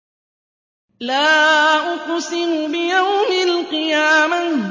لَا أُقْسِمُ بِيَوْمِ الْقِيَامَةِ